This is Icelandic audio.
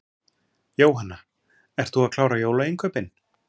Jóhanna: Ert þú að klára jólainnkaupin?